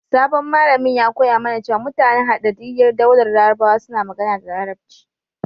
Sabon malamin ya koya mana cewa mutanen Hadaddiyar Daular Larabawa suna magana da Larabci.